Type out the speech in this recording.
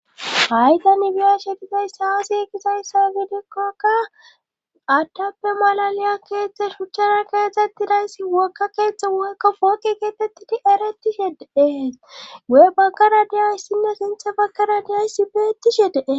Faytanibiyashe gizay saasi gizayssa gidekkaka attappe malaliya keetzthe shuchchara keexettidayssi wokka keeththa wakka fooqi geetettidi erettishe dee wo'e bagkara diyoyssinna sintha bagara diyayssibeetishe dee.